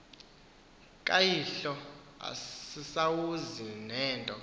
kayihlo ayisazuzi nento